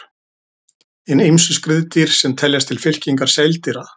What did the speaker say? Hin ýmsu skriðdýr sem teljast til fylkingar seildýra.